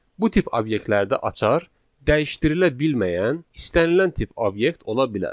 Bu tip obyektlərdə açar dəyişdirilə bilməyən istənilən tip obyekt ola bilər.